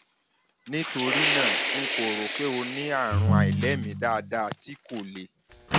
nítorí náà n kò rò pé o ní àrùn àìlèmí dáadáa tí kò le